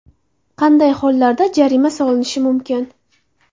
Qanday hollarda jarima solinishi mumkin?